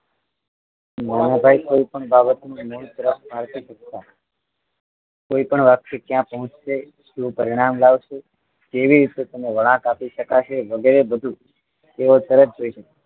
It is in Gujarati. નાનાભાઈ કોઈ પણ બાબતનું મૂળદ્ર કોઈ પણ વાત ક્યા પૂછશે શું પરિણામ લાવશે કેવી રીતે તેનો વણાંક આપી શકાશે વગેરે બધુ તેઓ તરત જોઈ શકે